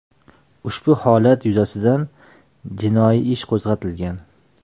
Ushbu holat yuzasidan jinoiy ish qo‘zg‘atilgan.